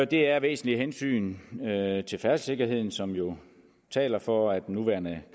det er væsentlige hensyn til færdselssikkerheden som jo taler for at den nuværende